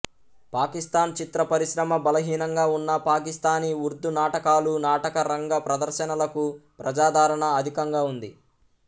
పాకిస్థాన్ చిత్రపరిశ్రమ బలహీనంగా ఉన్నా పాకిస్థానీ ఉర్దూ నాటకాలు నాటకరంగ ప్రదర్శనలకు ప్రజాదరణ అధికంగా ఉంది